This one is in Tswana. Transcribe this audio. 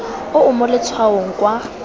o o mo letshwaong kwa